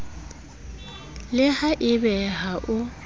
le ha ebe ha o